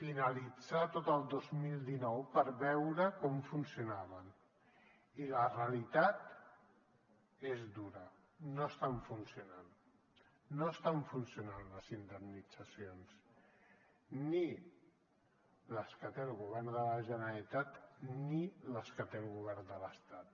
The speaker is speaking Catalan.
finalitzar tot el dos mil dinou per veure com funcionaven i la rea litat és dura no estan funcionant no estan funcionant les indemnitzacions ni les que té el govern de la generalitat ni les que té el govern de l’estat